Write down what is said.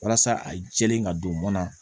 Walasa a jɛlen ka don mɔn na